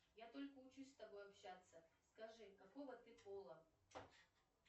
я только учусь с тобой общаться скажи какого ты пола